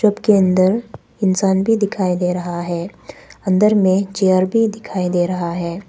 के अंदर इंसान भी दिखाई दे रहा है अंदर में चेयर भी दिखाई दे रहा है।